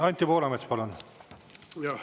Anti Poolamets, palun!